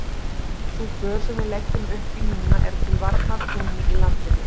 Sú för sem við leggjum upp í núna er til varnar trúnni í landinu.